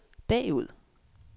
bagud